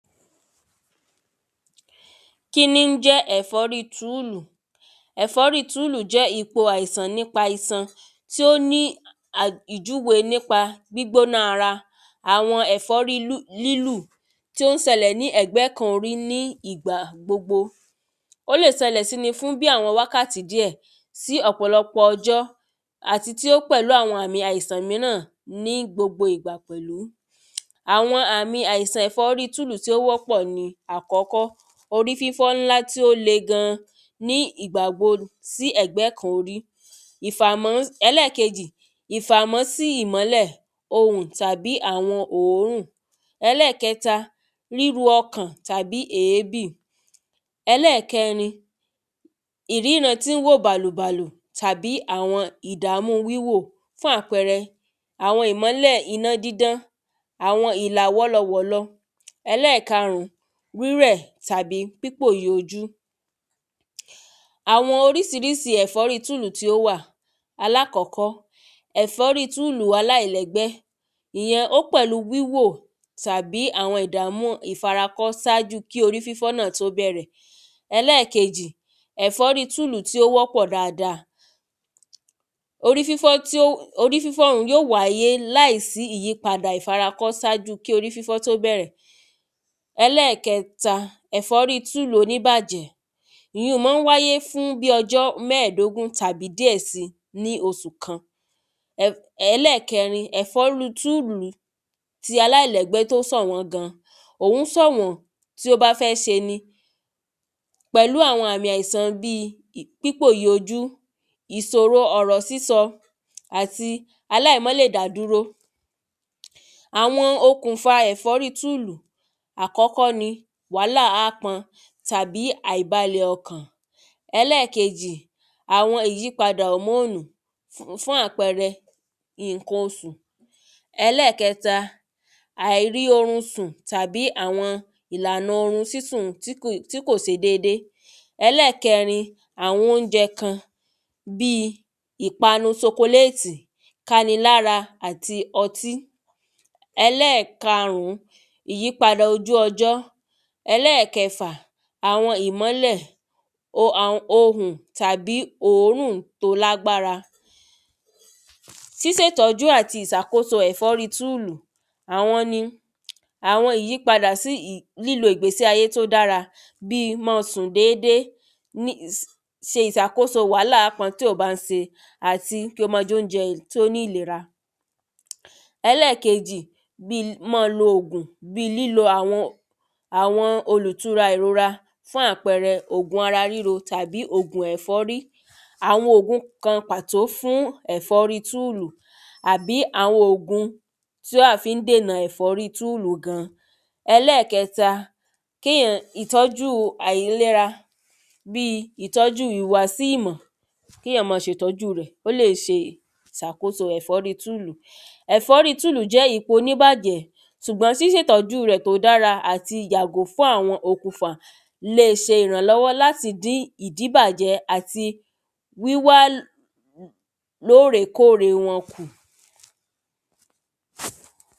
Kíní ń jẹ́ ẹ̀fọ́rí túùlù? ẹ̀fọ́rí túùlù jẹ́ ipò àìsàn nípa ìsan tí ó ní a ìjúwe nípa gbígbóná ara àwọn ẹ̀fọ́rí lúlù tí ó ń sẹlẹ̀ ní ẹ̀gbẹ́ kan orí ní ìgbà gbogbo Ó lè sẹlẹ̀ síni fún bí àwọn wákàtí díẹ̀ sí ọ̀pọ̀lọpọ̀ ọjọ́ àti tí ó pẹ̀lú àwọn àmì àìsàn míràn ní gbogbo ìgbà pẹ̀lú àwọn àmì àìsàn ẹ̀fọ́rí túùlù tí ó wọ́pọ̀ ni àkọ́kọ́ orí fífọ́ ńlá tí ó le gan ní ìgbà gbo sí ẹ̀gbẹ́ kan orí ìfàmọ́ ẹlẹ́ẹ̀kejì ìfámọ́sì ìmọ́lẹ̀ ohùn tàbí àwọn òórún ríru ọkàn tàbí èébì. Ẹlẹ́ẹ̀kẹrin ìrína tí ń wò bàlù bàlù tàbí àwọn ìdàmú wíwò fún àpẹre àwọn ìmọ́lẹ̀ iná dídán àwọn ìlà wọ́lọ wọ̀lọ. Ẹlẹ́ẹ̀karùn rírẹ̀ tàbí pípòyìí ojú Àwọn orísirísi ẹ̀fọ́rí túùlù tí ó wà alákọ́kọ́ ẹ̀fọ́rí túùlù aláìlẹ́gbẹ́ ìyun ó pẹ̀lú wíwò tàbí àwọn ìdàmú ìfarakó sáájú kí orí fífọ́ náà tó bẹ̀rẹ̀ ẹlẹ́ẹ̀kejì ẹ̀fọ́rí túùlù tí ó wọ́pọ̀ dáada. orí fífọ́ un yóò wáyé láì sí padà ìfarakọ́ sáájú kí orí fífọ́ tó bẹ̀rẹ̀ Ẹlẹ́ẹ̀kẹta ẹ̀fọ́rí túùlù oníbàjẹ́ ìyun má ń wáyé fún bí ọjọ́ mẹ́ẹ̀dógún tàbí díẹ̀ sí ní oṣù kan Ẹlẹ́ẹ̀kẹrin ẹ̀fọ́rí túùlù ti aláìlẹ́gbẹ́ tó sọ̀wọ́n gan òhun sọ̀wọ́n tí ó bá fẹ́ se ni pẹ̀lú àwọn àmì àìsàn bí pípòyì ojú ìsòro ọ̀rọ̀ sísọ àti aláìmá lè dádúró Àwọn okùnfà ẹ̀fọ́rí túùlù àkọ́kọ́ ni wàhálà ápọn tàbí àìbalẹ̀ ọkàn. Ẹlẹ́ẹ̀kejì àwọn ìyípadà hòómóònù fún fún àpẹrẹ nǹkan osù Ẹlẹ́ẹ̀kẹta àìrí orun sùn tàbí àwọn ìlànà orun sísùn tí kò se dédé Ẹlẹ́ẹ̀kẹrin àwọn óúnjẹ kan bí ìpanu sokolétì káni lára àti ọtí Ẹlẹ́ẹ̀karùn ìyípadà ojú ọjọ́ Ẹlẹ́ẹ̀kẹfà àwọn ìmọ́lẹ̀ o ohùn tàbí òórùn tó lágbára síse ìtọ́jú àti ìsàkóso ẹ̀fọ́rí túùlù àwọn ni àwọn ìyípadà sí lílo ìgbésí ayé tó dára bí mọ́ sùn dédé ní se ìsàkóso wàhálà ápọn tí ò bá ń se àti kí o má jẹ óúnjẹ tí ó ní ìlera. Ẹlẹ́ẹ̀kẹjì bí mọ́ lo òògùn bí lílo àwọn àwọn olùtura ìrora fún àpẹrẹ òògùn ara ríro fún ẹ̀fọ́rí àwọn òògùn kan pàtó fún ẹ̀fọ́rí túùlù àbí àwọn òògùn tí à fí ń dènà ẹ̀fọ́rí túùlù gan. ẹlẹ́ẹ̀kẹta kéyàn ìtọ́jú àìlera bí ìtọ́jú ìhùwàsí ìmọ̀ kéyàn mọ́ ṣe ìtọ́jú rẹ̀ kó lè ìsàkóso ẹ̀fọ́rí túùlù. Ẹ̀fọ́rí túùlù ikun oníbàjẹ́ sùgbọ́n sísètọ́jú rẹ̀ tó dára àti yàtọ̀ fún àwọn okùnfà le se ìrànlọ́wọ́ láti dí àwọn ìdíbàjẹ́ àti wíwá lórè kórè wọn kù.